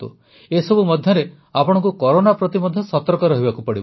ଏସବୁ ମଧ୍ୟରେ ଆପଣଙ୍କୁ କରୋନା ପ୍ରତି ମଧ୍ୟ ସତର୍କ ରହିବାକୁ ପଡ଼ିବ